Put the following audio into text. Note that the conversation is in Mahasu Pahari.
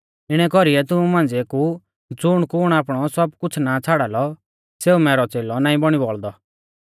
इणै कौरीऐ तुमु मांझ़िऐ कु ज़ुणकुण आपणौ सब कुछ़ ना छ़ाड़ा लौ सेऊ मैरौ च़ेलौ नाईं बौणी बौल़दौ